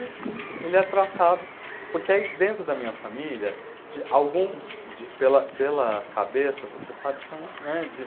E ele é tratado, porque aí dentro da minha família, de, alguns, de, pela pela cabeça, você sabe que é uns, né, de